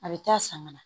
A bɛ taa sanga na